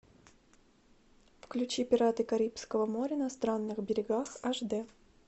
включи пираты карибского моря на странных берегах аш д